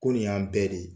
Ko nin y'an bɛɛ de ye